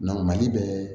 mali bɛ